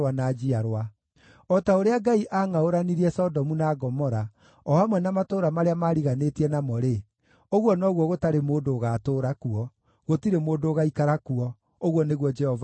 O ta ũrĩa Ngai aangʼaũranirie Sodomu, na Gomora, o hamwe na matũũra marĩa maariganĩtie namo-rĩ, ũguo noguo gũtarĩ mũndũ ũgaatũũra kuo; gũtirĩ mũndũ ũgaikara kuo,” ũguo nĩguo Jehova ekuuga.